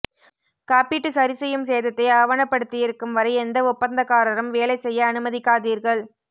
காப்பீட்டு சரிசெய்யும் சேதத்தை ஆவணப்படுத்தியிருக்கும் வரை எந்த ஒப்பந்தக்காரரும் வேலை செய்ய அனுமதிக்காதீர்கள்